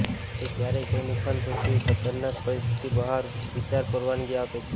તે ક્યારેક કોઈ નુકસાન સૌથી ખતરનાક પરિસ્થિતિ બહાર વિચાર પરવાનગી આપે છે